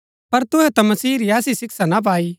पर तुहै ता मसीह री ऐसी शिक्षा ना पाई